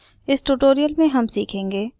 इस tutorial में हम सीखेंगे